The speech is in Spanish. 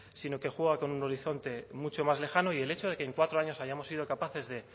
sino que juega con un horizonte mucho más lejano y el hecho de que en cuatro años hayamos sido capaces de